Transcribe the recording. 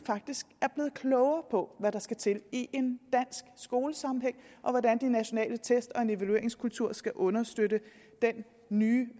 faktisk blevet klogere på hvad der skal til i en dansk skolesammenhæng og hvordan de nationale test og en evalueringskultur skal understøtte den nye